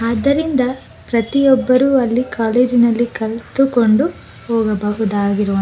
ಆದರಿಂದ ಪ್ರತಿ ಒಬ್ಬರು ಅಲ್ಲಿ ಕಾಲೇಜಿನಲ್ಲಿ ಕಲತುಕೊಂಡು ಹೋಗಬಹುದಾಗಿರುವ.